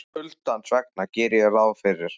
Kuldans vegna geri ég ráð fyrir.